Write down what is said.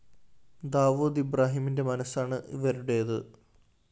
ദാവൂദ് ഇബ്രാഹിമിന്റെ മനസ്സാണ് ഇവരുടേത്